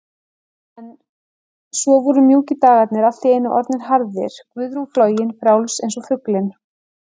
En svo voru mjúkir dagarnir allt í einu orðnir harðir, Guðrún flogin, frjáls einsog fuglinn.